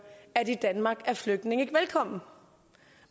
at i danmark er flygtninge ikke velkomne